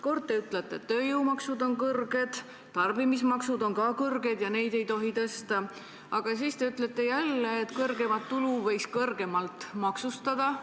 Kord te ütlete, et tööjõumaksud on kõrged, tarbimismaksud on ka kõrged ja neid ei tohi tõsta, aga siis te ütlete jälle, et suuremat tulu võiks kõrgemalt maksustada.